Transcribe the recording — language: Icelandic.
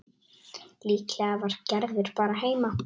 Líklega var Gerður bara heima.